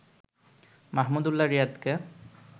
Mahmudullah রিয়াদকে